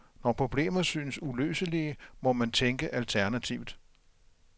Når problemer synes uløselige, må man tænke alternativt.